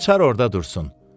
Açar orda dursun.